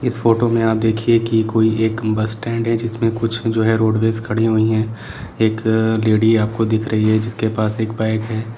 इस फोटो में यहां देखिये कि कोई एक बस स्टैंड है जिसमे कुछ जो है रोडवेज़ खड़ी हुई है एक लेडी आपको दिख रही है जिसके पास एक बैग है।